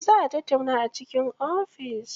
Za a tattauna a cikin ofis.